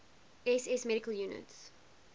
ss medical units